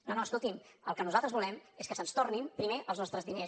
no no escolti’m el que nosaltres volem és que se’ns tornin primer els nostres diners